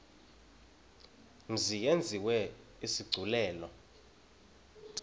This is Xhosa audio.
mzi yenziwe isigculelo